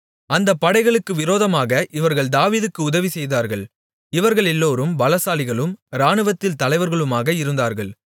அந்த படைகளுக்கு விரோதமாக இவர்கள் தாவீதுக்கு உதவி செய்தார்கள் இவர்களெல்லோரும் பலசாலிகளும் இராணுவத்தில் தலைவர்களுமாக இருந்தார்கள்